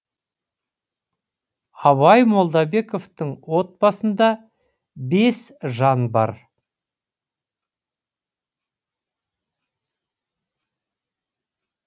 абай молдабековтың отбасында бес жан бар